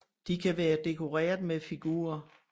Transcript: De kan være dekoreret med figurer